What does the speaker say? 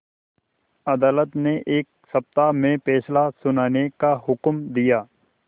अदालत ने एक सप्ताह में फैसला सुनाने का हुक्म दिया